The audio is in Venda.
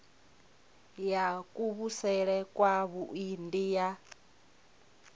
ya kuvhusele kwavhui ndi ya